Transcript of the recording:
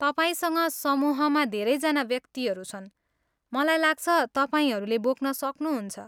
तपाईँसँग समूहमा धेरैजना व्यक्तिहरू छन्, मलाई लाग्छ तपाईँहरूले बोक्न सक्नुहुन्छ।